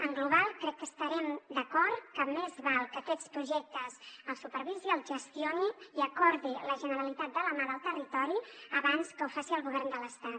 en global crec que estarem d’acord que més val que aquests projectes els supervisi els gestioni i acordi la generalitat de la mà del territori abans que ho faci el govern de l’estat